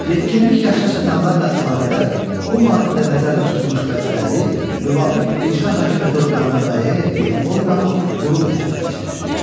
Yetkinlik yaşına çatanlarla əlaqədar bu maddədə nəzərdə tutulmuş vəzifələri müvafiq icra hakimiyyəti orqanının müəyyən etdiyi orqan, qurum həyata keçirir.